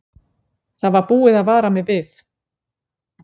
Það var búið að vara við mig.